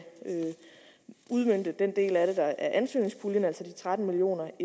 udmønte den del af det der er ansøgningspuljen altså de tretten million